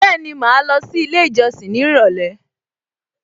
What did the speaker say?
Bẹ́ẹ̀ni, màá lọ sí ilé ìjọsìn ní ìrọ̀lẹ́